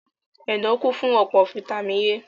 Ẹ̀dọ̀ kún fún ọ̀pọ̀ fataímìn A.